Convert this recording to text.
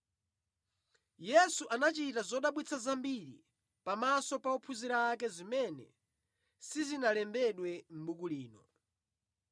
Yesu anachita zodabwitsa zambiri pamaso pa ophunzira ake zimene sizinalembedwe mʼbuku lino.